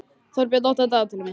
Þórbjörn, opnaðu dagatalið mitt.